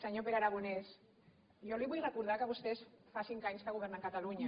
senyor pere aragonès jo li vull recordar que vostès fa cinc anys que governen catalunya